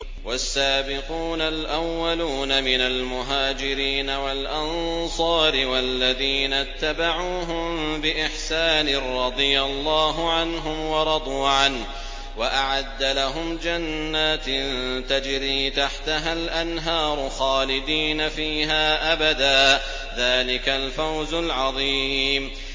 وَالسَّابِقُونَ الْأَوَّلُونَ مِنَ الْمُهَاجِرِينَ وَالْأَنصَارِ وَالَّذِينَ اتَّبَعُوهُم بِإِحْسَانٍ رَّضِيَ اللَّهُ عَنْهُمْ وَرَضُوا عَنْهُ وَأَعَدَّ لَهُمْ جَنَّاتٍ تَجْرِي تَحْتَهَا الْأَنْهَارُ خَالِدِينَ فِيهَا أَبَدًا ۚ ذَٰلِكَ الْفَوْزُ الْعَظِيمُ